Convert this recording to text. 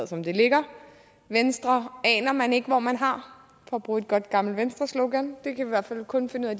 som det ligger venstre aner man ikke hvor man har for at bruge et godt gammelt venstreslogan vi kan i hvert fald kun finde ud af